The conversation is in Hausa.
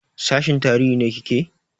Sashin tarihi ne kike?